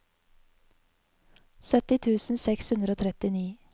sytti tusen seks hundre og trettini